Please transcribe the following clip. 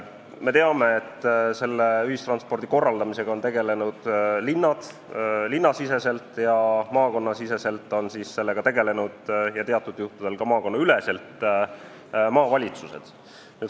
Me teame, et ühistranspordi korraldamisega on tegelenud linnad ning maakondades ja teatud juhtudel ka maakonnaüleselt on sellega tegelenud maavalitsused.